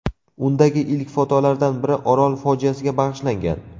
Undagi ilk fotolardan biri Orol fojiasiga bag‘ishlangan.